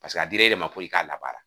Paseke a dir'e de ma ko i k'a labara